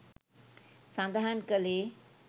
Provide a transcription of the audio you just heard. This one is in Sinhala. සඳහන් කළේ